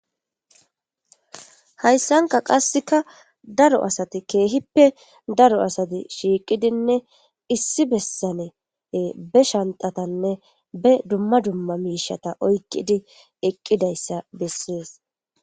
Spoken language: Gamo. hayssanka qasseka daro asati keehippe daro asati shiiqidinne issi bessane be shantatanne be dumma dumma miishata oykqidi eqqidayssa bessees